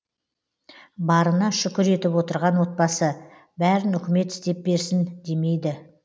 барына шүкір етіп отырған отбасы бәрін үкімет істеп берсін демейді